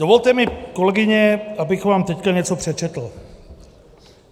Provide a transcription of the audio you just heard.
Dovolte mi, kolegyně, abych vám teď něco přečetl.